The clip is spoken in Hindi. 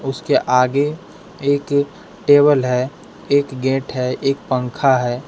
उसके आगे एक टेबल है एक गेट है एक पंखा है।